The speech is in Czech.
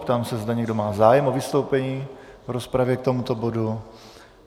Ptám se, zda má někdo zájem o vystoupení v rozpravě k tomuto bodu.